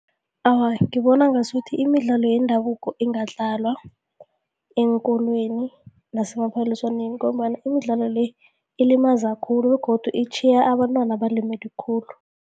Awa, ngibona ngasuthi imidlalo yendabuko ingadlalwa eenkolweni nasemaphaliswaneni ngombana imidlalo le, ilimaza khulu begodu itjhiye abantwana balimele khulu.